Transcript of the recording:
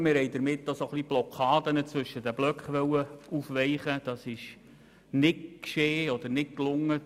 Wir wollten damit auch Blockaden zwischen den Blöcken aufweichen, was aber nicht gelang.